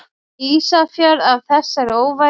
Ísafjörð af þessari óværu!